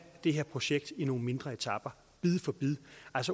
det her projekt i nogle mindre etaper bid for bid